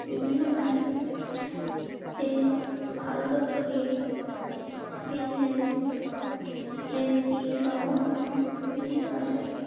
বিভিন্ন ভাষাতে ফেক ভারতত্ব বিদ. সহ বিভিন্ন ভাষায়.